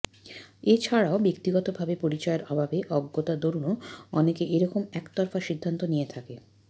এছাড়াও ব্যক্তিগতভাবে পরিচয়ের অভাবে অজ্ঞতা দরুণও অনেকে এরকম এক তরফা সিদ্ধান্ত নিয়ে থাকে